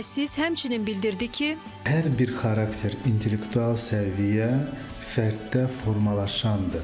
Mütəxəssis həmçinin bildirdi ki, hər bir xarakter, intellektual səviyyə fərddə formalaşandır.